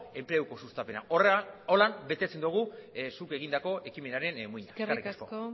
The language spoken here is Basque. enpleguko sustapena horrela betetzen dugu zuk egindako ekimenaren muina eskerrik asko eskerrik asko